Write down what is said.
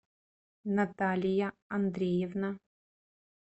наталья андреевна